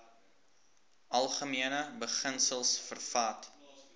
algemene beginsels vervat